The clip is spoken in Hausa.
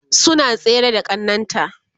suna tsere da ƙannan ta